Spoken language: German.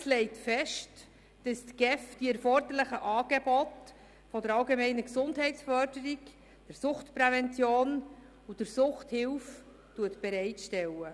Das Gesetz über die öffentliche Sozialhilfe (Sozialhilfegesetz, SHG) legt fest, dass die GEF die erforderlichen Angebote der allgemeinen Gesundheitsförderung, der Suchtprävention und der Suchthilfe bereitstellt.